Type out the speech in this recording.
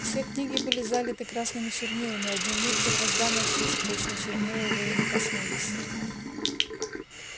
все книги были залиты красными чернилами а дневник первозданно чист точно чернила его и не коснулись